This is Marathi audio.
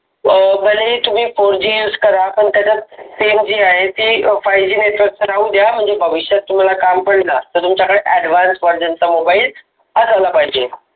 अं भलेही तुम्ही fourGuse करा पण त्याच्या सेवजी आहे. ती fiveGnetwork भविष्यात तुम्हाला काम पडेल ज्यास्त. आयुष्यात तुमच्याकडे Advance version चा mobile असायला पाहिजे.